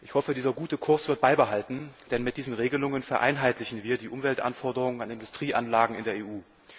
Ich hoffe, dieser gute Kurs wird beibehalten, denn mit diesen Regelungen vereinheitlichen wir die Umweltanforderungen an Industrieanlagen in der EU.